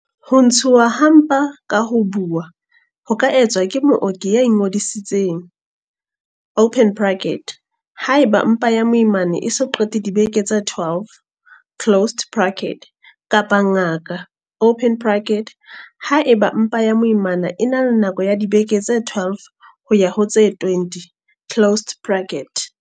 Ho ntshuwa ha mpa ka ho buuwa ho ka etswa ke mooki ya ingodisitseng, haeba mpa ya moimana e so qete dibeke tse 12, kapa ngaka, haeba mpa ya moimana e na le nako ya dibeke tse 12 ho ya ho tse 20.